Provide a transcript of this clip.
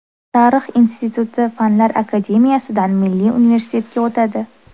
Tarix instituti Fanlar akademiyasidan Milliy universitetga o‘tadi.